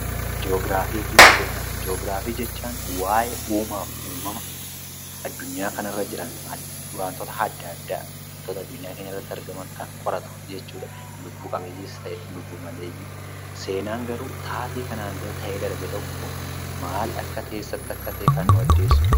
Ji'oogiraafii fi Seenaa: Ji'oogiraafii jechuun waa'ee uumaa fi uumama addunyaa kana irra jiran, wantoota adda addaa wantoota addunyaa keenyatti argaman kan qoratu jechuudha, lubbu qabeeyyiis ta'e lubbuu dhabeeyyii. Seenaan garuu taatee kanaan dura ta'ee darbe tokko maaltu akka ta’e, eessatti akka ta'e kan nuuf addeessudha.